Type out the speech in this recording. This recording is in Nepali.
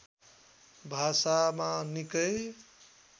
भाषामा निकै